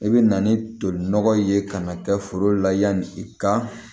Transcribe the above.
I bɛ na ni toli nɔgɔ ye ka na kɛ foro la yanni i ka